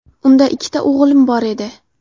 Unda ikkita o‘g‘lim bor edi.